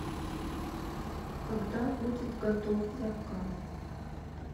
когда будет готов заказ